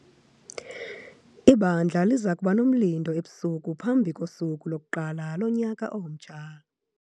Ibandla liza kuba nomlindo ebusuku phambi kosuku lokuqala lonyaka omtsha.